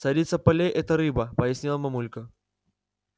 царица полей это рыба пояснила мамулька